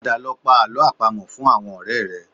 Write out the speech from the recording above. Padà lọ pa àlọ́ àpamọ̀ fún àwọn ọ̀rẹ́ rẹ